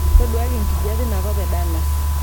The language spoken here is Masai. ntoduakaki enkijape inakop e dallas